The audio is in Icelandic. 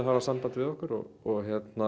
samband við okkur og